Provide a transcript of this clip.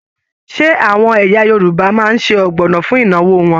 Ṣe àwọn ẹ̀yà Yorùbá máa n sé ọgbọnọ fún ìnáwó wọn?